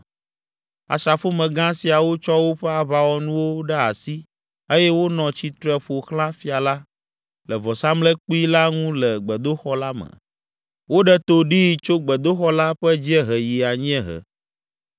Asrafomegã siawo tsɔ woƒe aʋawɔnuwo ɖe asi eye wonɔ tsitre ƒo xlã fia la, le vɔsamlekpui la ŋu le gbedoxɔ la me. Woɖe to ɖee tso gbedoxɔ la ƒe dziehe yi anyiehe.